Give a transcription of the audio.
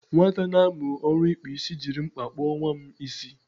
Nwata na-amu oru ikpu isi jiri mkpa kpo nwa m isi.